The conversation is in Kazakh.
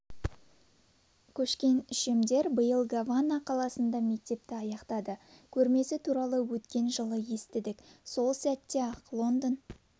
көшкен үшемдер биыл гавана қаласында мектепті аяқтады көрмесі туралы өткен жылы естідік сол сәтте-ақ лондон